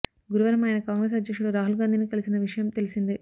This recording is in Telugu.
గురువారం ఆయన కాంగ్రెస్ అధ్యక్షుడు రాహుల్ గాంధీని కలిసిన విషయం తెలిసిందే